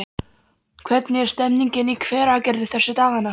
Hvernig er stemningin í Hveragerði þessa dagana?